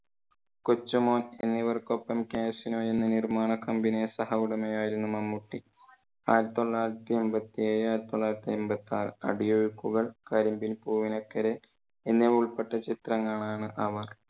കൊച്ചു മോൻ എന്നിവർക്കൊപ്പം casino എന്ന നിർമാണ company യുടെ സഹ ഉടമ ആയിരുന്നു മമ്മൂട്ടി. ആയിരത്തി തൊള്ളായിരത്തി എൺപത്തി ഏഴു. ആയിരത്തി തൊള്ളായിരത്തി എൺപത്തി ആറ്, അടിയൊഴുക്കുകൾ, കരിമ്പിൻ പൂവിനക്കരെ എന്നിവ ഉൾപ്പെട്ട ചിത്രങ്ങളാണ് അവർ